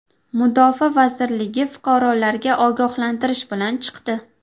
Mudofaa vazirligi fuqarolarga ogohlantirish bilan chiqdi.